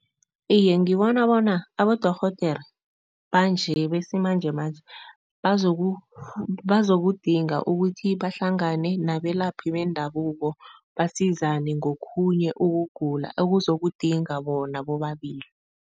Iye, ngibona bona abodorhodere banje besimanjemanje, bazokudinga ukuthi bahlangane nabelaphi bendabuko, basizane ngokhunye ukugula okuzokudinga bona bobabili.